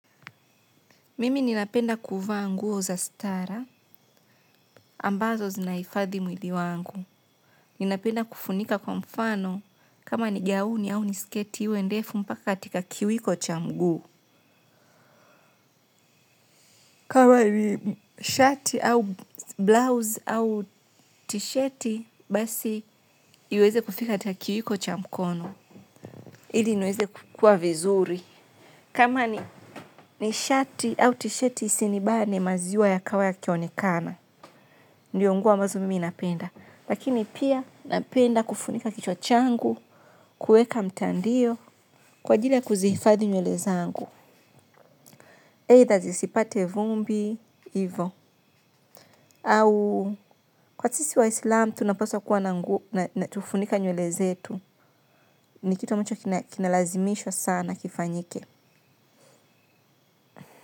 Mimi ninapenda kuvaa nguo za stara ambazo zinahifadhi mwili wangu. Ninapenda kufunika kwa mfano kama ni gauni au ni sketi iwe ndefu mpaka katika kiwiko cha mguu. Kama ni shati au blouse au tisheti basi iweze kufika katika kiwiko cha mkono. Ili niweze kukua vizuri. Kama ni shati au tisheti isinibane maziwa yakawa yakionekana. Ndiyo nguo ambazo mimi napenda. Lakini pia napenda kufunika kichwa changu, kueka mtandio, kwa ajili ya kuzifadhi nywele zangu. Either zisipate vumbi, hivo, au kwa sisi waislam tunapaswa kuwa na nguo na tufunike nywele zetu. Ni kitu ambacho kinalazimishwa sana kifanyike.